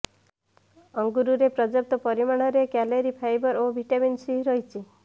ଅଙ୍ଗୁରରେ ପର୍ଯ୍ୟାପ୍ତ ପରିମାଣରେ calorie fibre ଓ ଭିଟାମିନ ସି ରହିଛି